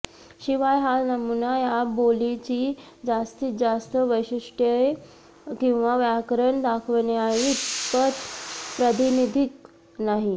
शिवाय हा नमुना या बोलीची जास्तीत जास्त वैशिष्ट्ये किंवा व्याकरण दाखवण्याइतपत प्रातिनिधिक नाही